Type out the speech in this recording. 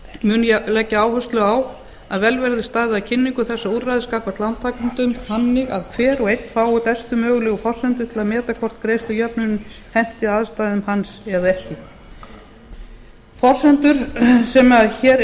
mun ég leggja áherslu á að vel verði staðið að kynningu úrræðisins gagnvart lántakendum þannig að hver og einn fái bestu mögulegu forsendur til að meta hvort greiðslujöfnun henti aðstæðum hans eða ekki forsendur sem hér